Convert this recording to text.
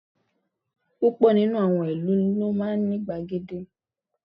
Púpọ̀ nínú àwọn ìlú ni ó máa ní gbàgede